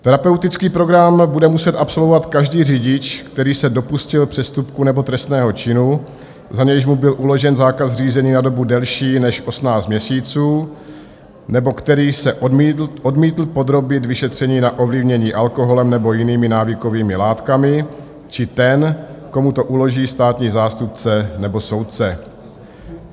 Terapeutický program bude muset absolvovat každý řidič, který se dopustil přestupku nebo trestného činu, za nějž mu byl uložen zákaz řízení na dobu delší než 18 měsíců nebo který se odmítl podrobit vyšetření na ovlivnění alkoholem nebo jinými návykovými látkami, či ten, komu to uloží státní zástupce nebo soudce.